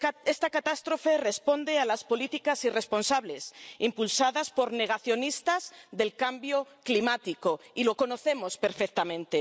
Esta catástrofe responde a las políticas irresponsables, impulsadas por negacionistas del cambio climático, y lo conocemos perfectamente.